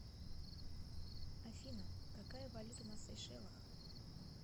афина какая валюта на сейшелах